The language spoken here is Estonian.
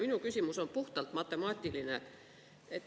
Minu küsimus on puhtalt matemaatiline.